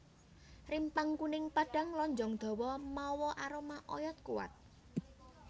Rimpang kuning padhang lonjong dawa mawa aroma oyod kuwat